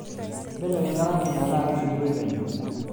belekenya orangi metaa kesikitoi penyo